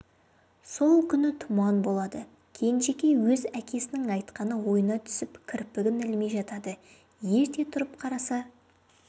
сол күні тұман болады кенжекей өз әкесінің айтқаны ойына түсіп кірпігін ілмей жатады ерте тұрып қараса